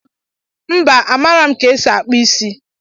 Mba amarọm ka esi akpụ isi.